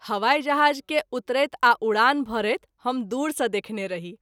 हवाई जहाज़ के उतरैत आ उड़ान भरैत हम दूर सँ देखने रही।